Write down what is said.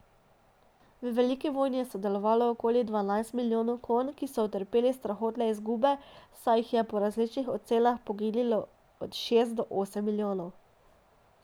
V veliki vojni je sodelovalo okoli dvanajst milijonov konj, ki so utrpeli strahotne izgube, saj jih je po različnih ocenah poginilo od šest do osem milijonov.